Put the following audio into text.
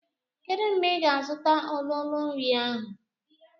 Kedu mgbe ị ga-azụta ololo nri ahụ?